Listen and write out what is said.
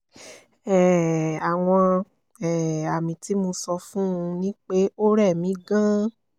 um àwọn um àmì tí mo sọ fún un ni pé ó rẹ́ mí gan-an